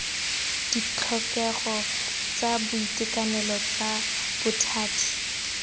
ditlhokego tsa boitekanelo tsa bothati